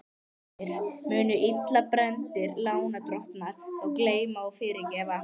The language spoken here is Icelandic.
Heimir: Munu illa brenndir lánadrottnar þá gleyma og fyrirgefa?